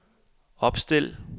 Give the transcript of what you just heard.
opstil